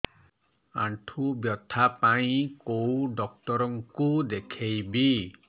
ଆଣ୍ଠୁ ବ୍ୟଥା ପାଇଁ କୋଉ ଡକ୍ଟର ଙ୍କୁ ଦେଖେଇବି